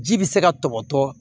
Ji bɛ se ka tɔbɔtɔ